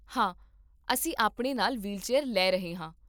ਹਾਂ, ਅਸੀਂ ਆਪਣੇ ਨਾਲ ਵ੍ਹੀਲਚੇਅਰ ਲੈ ਰਹੇ ਹਾਂ